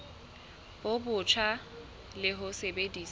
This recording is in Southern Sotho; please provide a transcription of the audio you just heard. bo botjha le ho sebedisa